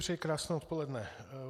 Přeji krásné odpoledne.